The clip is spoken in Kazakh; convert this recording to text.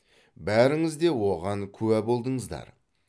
бәріңіз де оған куә болдыңыздар